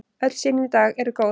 Öll sýni í dag eru góð.